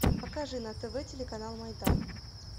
покажи на тв телеканал майдан